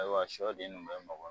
Ayiwa sɔden nu be mɔgɔ ɲɛn